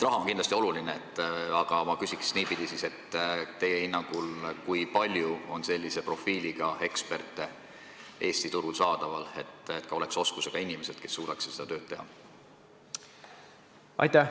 Raha on kindlasti oluline, aga ma küsin niipidi: kui palju teie hinnangul on Eesti turul sellise profiiliga eksperte, kes oskaks seda tööd teha?